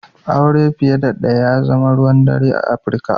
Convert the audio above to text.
Aure fiye da ɗaya ya zama ruwan dare a Afirika.